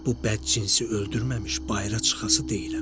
Bu bədcinsi öldürməmiş bayıra çıxası deyiləm.